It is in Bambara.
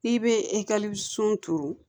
N'i bɛ ekɔli sun turu